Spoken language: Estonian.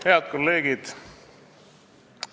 Head kolleegid!